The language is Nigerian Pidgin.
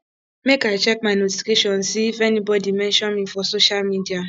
make i check my notifications see if anybodi mention me for social media